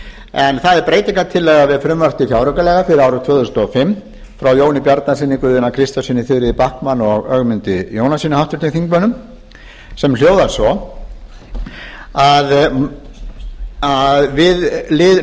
en það er breytingartillaga við frumvarp til fjáraukalaga fyrir árið tvö þúsund og fimm frá jóni bjarnasyni guðjóni a kristjánssyni þuríði backman og ögmundi jónassyni háttvirtum þingmönnum sem hljóðar svo að við lið núll þriggja til